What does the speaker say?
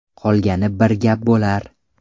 Qolgani bir gap bo‘lar.